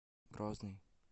грозный